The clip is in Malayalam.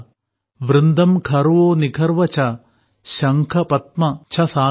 വൃന്ദം ഖർവോ നിഖർവഃ ച ശംഖഃ പദ്മംഃ ച സാഗരഃ